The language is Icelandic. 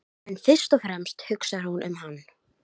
En fyrst og fremst hugsar hún um hann.